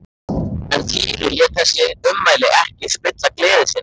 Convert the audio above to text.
En Týri lét þessi ummæli ekki spilla gleði sinni.